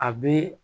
A bɛ